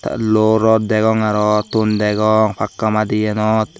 te luo rot degong arow ton degong pakka madienot.